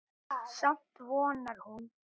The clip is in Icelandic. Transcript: Samt vonar hún.